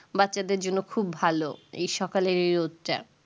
বাচ্চাদের জন্যে খুব ভালো এই সকালের এই রোদ টা